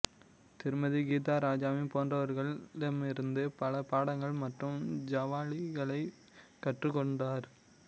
திருமதி கீதா ராஜாவி போன்றவர்களிடமிருந்து பல பாடங்கள் மற்றும் ஜாவாலிகளைக் கற்றுக்கொண்டார்